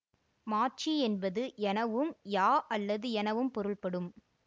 மாச்சி என்பது எனவும் யா அல்லது எனவும் பொருள்படும்